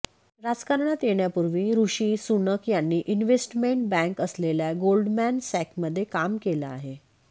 राजकारणात येण्यापूर्वी ऋषी सुनक यांनी इन्वेस्टमेंट बँक असलेल्या गोल्डमॅन सॅकमध्ये काम केलं आहे